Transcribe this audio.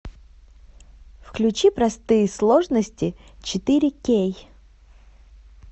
включи простые сложности четыре кей